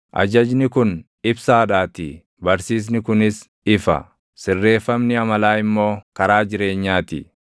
Ajajni kun ibsaadhaatii; barsiisni kunis ifa; sirreeffamni amalaa immoo karaa jireenyaa ti;